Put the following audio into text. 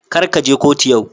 Kar ka je kotu yau.